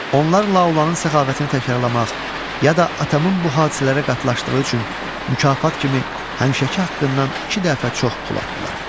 Onlar La olanın səxavətini təkrarlamaq, ya da atamın bu hadisələrə qatlaşdığı üçün mükafat kimi həmişəki haqqından iki dəfə çox pul atdılar.